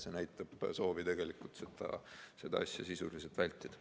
See näitab soovi sellega tegelemist tegelikult sisuliselt vältida.